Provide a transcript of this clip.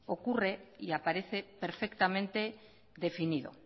ocurre y aparece perfectamente definido